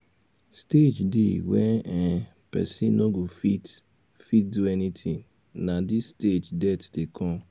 stage dey when um person no go fit fit do anything na this stage death dey come